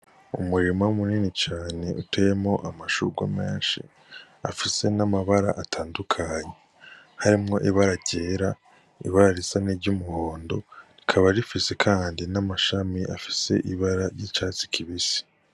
Umurima mu nini cane uteyemwo amashurwe meshi afise n'amabara atandukanye harimwo ibara ryera ibara risa n'iryumuhondo rikaba rifise kandi n'amashami afise ibara risa niryi catsi kibisi.